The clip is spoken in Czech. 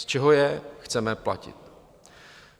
Z čeho je chceme platit?